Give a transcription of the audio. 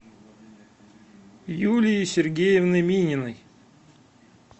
юлии сергеевны мининой